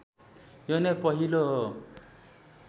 यो नै पहिलो हो